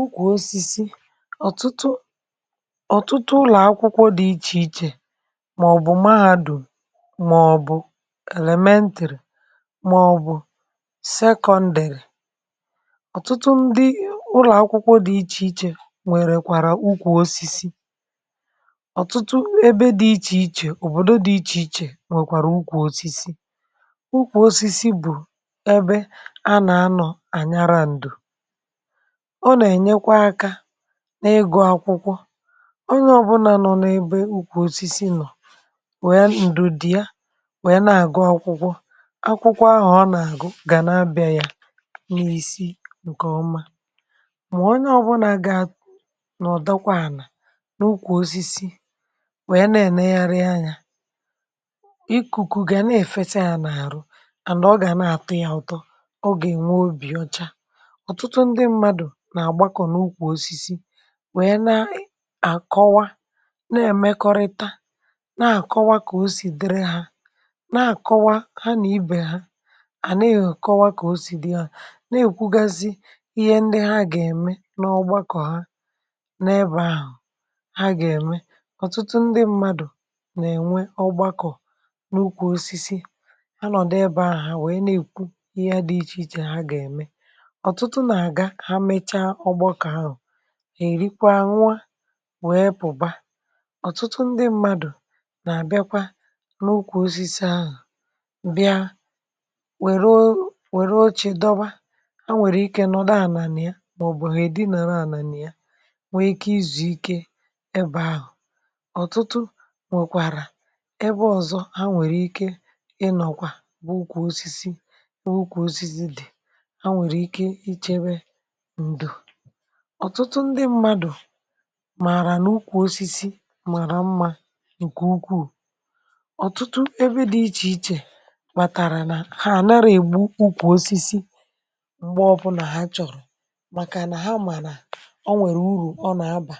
ùkwù osisi, ọ̀tụtụ ọ̀tụtụ ụlọ̀ akwụkwọ dị ichè ichè màọ̀bụ̀ mahadùm màọ̀bụ̀ elemeentịrị màọ̀bụ̀ sekọndị̀lị̀ ọ̀tụtụ ndị ụlọ̀ akwụkwọ dị ichè ichè nwèrè kwàrà ukwù osisi ọ̀tụtụ ebe dị ichè ichè, òbòdò dị ichè ichè nwèkwàrà ukwù osisi ukwù osisi bụ̀ ebe a nà-anọ̇ ànyara ǹdù ọ na-ènyekwe aka n’ịgụ akwụkwọ onye ọ̀bụnà nọ n’ebe ukwù osisi nọ̀ wee ǹdù dị ya wee na-àgụ akwụkwọ akwụkwọ ahụ̀ ọ nà-àgụ gà na bịa ya n’isi ǹkọ̀ọma mà onye ọ̀bụnà gà à nọ̀dakwa ànà n’ukwù osisi nwèe na-ènegharị anyȧ ikùku gà na-èfesa ya n’àrụ ànd ọ gà na-àtọ ya ụtọ ọ gà ènwe obì ọcha ọtụtụ ndị mmadụ na-agbakọ n’ukwu osisi wee na-àkọwa na-èmekọrịta na-àkọwa kà o siri dịrị ha na-àkọwa ha nà ibè ha àneị̀ akọwa kà o siri dịrị ha na-èkwugasị ihe ndị ha gà-ème n’ọgbakọ̀ ha n’ebe ahụ̀ ha gà-ème ọ̀tụtụ ndị mmadụ̀ nà-ènwe ọgbakọ̀ n’ụkwụ osisi anọ̀dụ ebe ahụ̀ ha wèe na-èkwu ihe dị ichè ichè ha gà-ème ọtụtụ na-aga ha mechaa ọgbakọ ahụ ha èrikwaa nwa wee pụ̀ba ọ̀tụtụ ndị mmadụ̀ nà-àbịakwa n’ukwù osisi ahụ̀ bịa wère o wère oche dọba ha nwèrè ike nọ̀dụ ànànà ya màọ̀bụ̀ èdinàra ànànà ya nwee ike izùike ebe ahụ̀ ọ̀tụtụ nwèkwàrà ebe ọ̀zọ ha nwèrè ike ịnọ̀kwa bụ ukwù osisi bụ ukwù osisi dị̀ ha nwèrè ike ichebe ǹdụ̀ ọ̀tụtụ ndị mmadụ̀ màrà n’ukwù osisi màrà mmȧ ǹkè ukwuù ọ̀tụtụ ebe dị ichè ichè màtàrà nà ha ànara ègbu ukwù osisi m̀gbe ọbụnà ha chọ̀rọ̀ màkà nà ha mànà o nwèrè urù ọ nà abà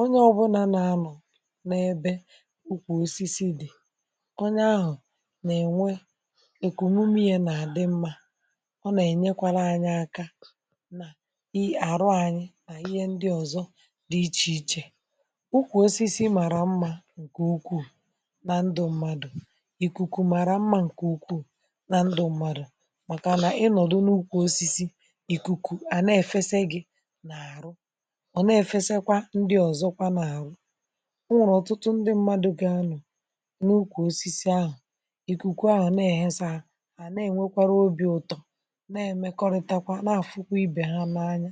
onye ọbụnȧ n’anọ̀ n’ebe ukwù osisi dị̀ onye ahụ̀ nà-ènwe èkùnume ya nà-àdị mmȧ ọ nà-ènyekwara anya aka na i arụ anyị na ihe ndị ọzọ dị iche ichè ukwù osisi mara mma nke ukwuu na ndụ mmadụ̀ ikuku mara mmà ǹkè ukwuu na ndụ mmadụ̀ màkà nà ịnọ̀dụ n’ukwù osisi ikuku à na-èfesa gị̇ n’àrụ ọ na-èfesakwà ndị ọzọkwa n’àrụ ọ nwụrụ ọtụtụ ndị mmadụ̇ gị anụ̀ n’ukwù osisi ahụ̀ ikuku à na-ehesa à na-enwekwara obi ụtọ̇ na-emekọrịtakwa n’afukwu ibe ha n’anya